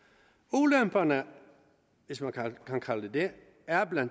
ulemperne hvis man kan kalde dem det er bla